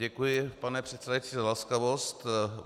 Děkuji, pane předsedající, za laskavost.